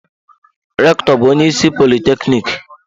Rektọ bu onye isi politekniki.